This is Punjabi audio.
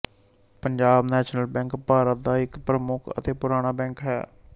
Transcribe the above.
ਪੰਜਾਬ ਨੈਸ਼ਨਲ ਬੈਂਕ ਭਾਰਤ ਦਾ ਇੱਕ ਪ੍ਰਮੁੱਖ ਅਤੇ ਪੁਰਾਣਾ ਬੈਂਕ ਹੈ